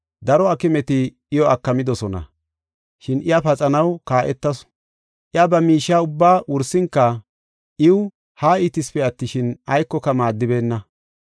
Daro aakimeti iyo aakimidosona, shin iya paxa kaa7etasu. Iya ba miishiya ubbaa wursinka iw haa iitisipe attishin, aykoka maaddibeenna.